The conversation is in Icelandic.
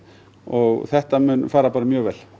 og þetta mun fara bara mjög vel